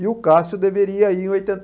E o Cássio deveria ir em oitenta e